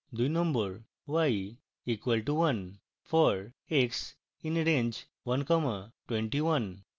2 y equal to one